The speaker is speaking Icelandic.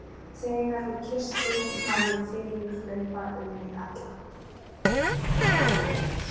Þegar hún kyssti mig fann ég fiðring hlaupa um mig alla.